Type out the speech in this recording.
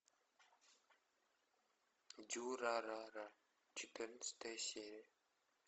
дюрарара четырнадцатая серия